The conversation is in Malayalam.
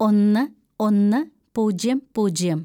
ഒന്ന് ഒന്ന് പൂജ്യം പൂജ്യം